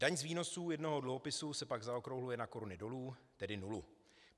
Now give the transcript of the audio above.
Daň z výnosů jednoho dluhopisu se pak zaokrouhluje na koruny dolů, tedy nulu.